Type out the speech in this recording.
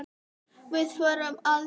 Þið fóruð aldrei heim aftur.